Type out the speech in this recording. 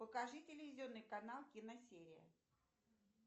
покажи телевизионный канал киносерия